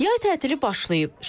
Yay tətilə başlayıb.